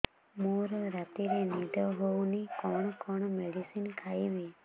ମୋର ରାତିରେ ନିଦ ହଉନି କଣ କଣ ମେଡିସିନ ଖାଇବି